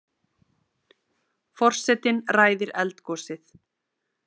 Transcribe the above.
Forsetinn ræðir eldgosið